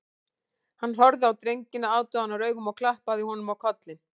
Hann horfði á drenginn aðdáunaraugum og klappaði honum á kollinn